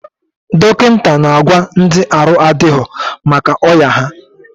Dọkịta na agwa ndị arụ adịrọ maka ọya ha